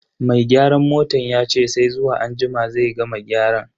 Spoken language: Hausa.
Mai gyaran motan yace sai zuwa anjima zai gama gyaran.